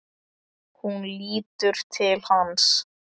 Hún lítur til hans.